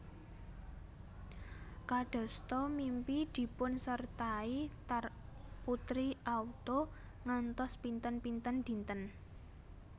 Kadasta mimpi dipunsertai tar putri auto ngantos pinten pinten dinten